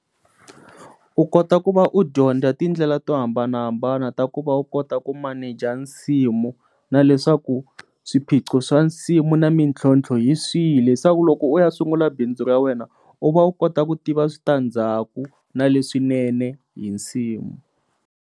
U kota ku va u dyondza tindlela to hambanahambana ta ku va u kota ku maneja nsimu na leswaku swiphiqo swa nsimu na mintlhontlho hi swihi leswaku loko u ya sungula bindzu ra wena u va u kota ku tiva switandzhaku na leswinene hi nsimu.